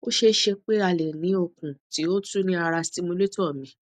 o ṣee ṣe pe a le ni okun ti o tu ni ara stimulator mi